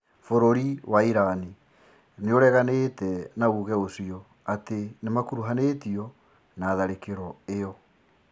Bũrũri wa Iran nĩĩreganĩte na uge ũcio atĩ nĩmakuruhanĩtio na tharĩkĩro ĩyo